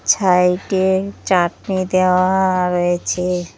ছাইডে চাটনি দেওয়াও রয়েছে।